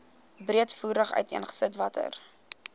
breedvoerig uiteengesit watter